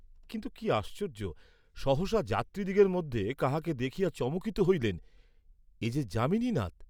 কিন্তু কি আশ্চর্য্য সহসা যাত্রীদিগের মধ্যে কাহাকে দেখিয়া চমকিত হইলেন, এ যে যামিনীনাথ!